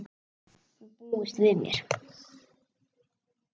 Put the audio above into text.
Hún búist við mér.